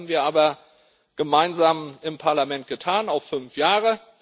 Das haben wir aber gemeinsam im Parlament getan, auf fünf Jahre.